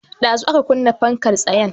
Ɗazu aka kunna fankar tsayen